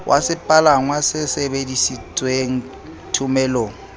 wa sepalangwa se sebedisitweng thomelong